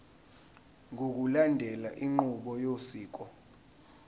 ngokulandela inqubo yosiko